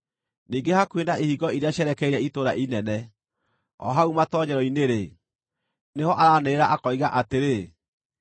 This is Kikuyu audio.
ningĩ hakuhĩ na ihingo iria cierekeire itũũra inene, o hau matoonyero-inĩ-rĩ, nĩho araanĩrĩra akoiga atĩrĩ: